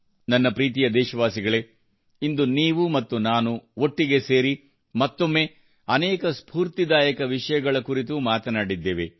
ನನ್ನ ಪ್ರೀತಿಯ ದೇಶವಾಸಿಗಳೇ ಇಂದು ನೀವು ಮತ್ತು ನಾನು ಒಟ್ಟಿಗೆ ಸೇರಿ ಮತ್ತೊಮ್ಮೆ ಅನೇಕ ಸ್ಪೂರ್ತಿದಾಯಕ ವಿಷಯಗಳ ಕುರಿತು ಮಾತನಾಡಿದ್ದೇವೆ